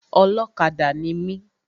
Ọlọ́kadà ni mi.